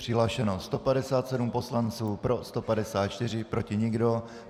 Přihlášeno 157 poslanců, pro 154, proti nikdo.